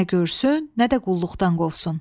Nə görsün, nə də qulluqdan qovsun.